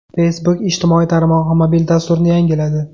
Facebook ijtimoiy tarmog‘i mobil dasturini yangiladi.